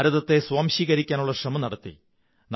ഭാരതത്തെ സ്വാംശീകരിക്കാനുള്ള ശ്രമം നടത്തി